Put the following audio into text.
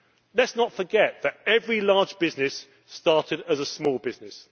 Let us not forget that every large business started as a small business.